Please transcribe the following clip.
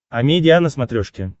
амедиа на смотрешке